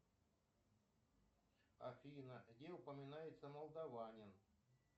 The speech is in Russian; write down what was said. афина где упоминается молдаванин